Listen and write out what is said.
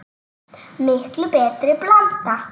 Miklu betri blanda?